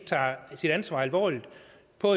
på